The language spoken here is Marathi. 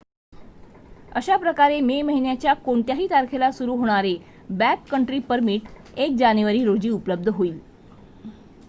अशाप्रकारे मे महिन्याच्या कोणत्याही तारखेला सुरू होणारे बॅककंट्री परमिट १ जानेवारी रोजी उपलब्ध होईल